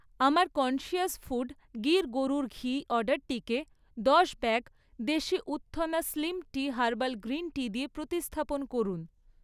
আমার conscious food Gir গরুর ঘি অর্ডারটিকে দশ ব্যাগ দেশি উত্থনা slim tea herbal green tea দিয়ে প্রতিস্থাপন করুন।